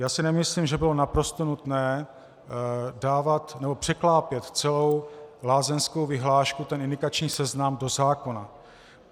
Já si nemyslím, že bylo naprosto nutné překlápět celou lázeňskou vyhlášku, ten indikační seznam, do zákona.